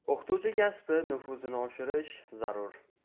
O‘qituvchi kasbi nufuzini oshirish zarur.